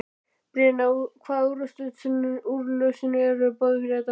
Brynja: Hvaða úrlausnir eru í boði fyrir þetta fólk?